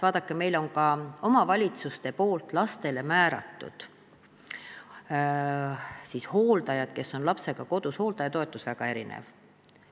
Vaadake, omavalitsused on lastele määranud hooldajad, kes on lapsega kodus, aga hooldajatoetus on väga erinev.